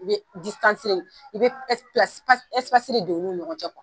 I bɛ i bɛ don olu ni ɲɔgɔn cɛ kuwa.